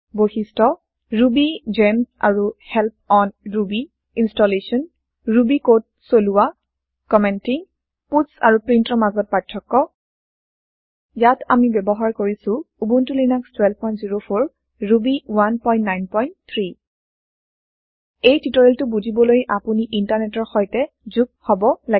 বৈশিষ্ট ৰুবিগেমছ আৰু help on Ruby installation Ruby code চলোৱা কমেন্টীং পাটছ আৰু printৰ মাজত পাৰ্থক্য ইয়াত আমি ব্যৱহাৰ কৰিছো উবুনটো লিনাস 1204 ৰুবি 193 এই টিওটৰিয়েলটো বুজিবলৈ আপুনি ইন্টাৰনেটৰ সৈতে যোগ হব লাগিব